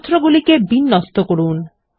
সূত্রগুলিকে বিন্যস্ত করুন